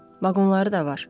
Vaqonları da var.